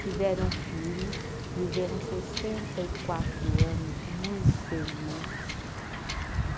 Tiveram filhos, viveram sessenta e quatro anos muito felizes.